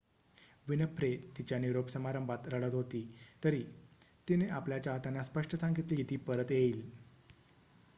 Winfrey तिच्या निरोप समारंभात रडत होती तरी तिने आपल्या चाहत्यांना स्पष्ट सांगितले की ती परत येईल